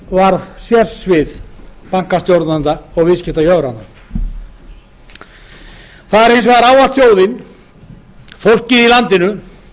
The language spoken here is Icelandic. varð sérsvið bankastjórnenda og viðskiptajöfra það er hins vegar ávallt þjóðin fólkið í landinu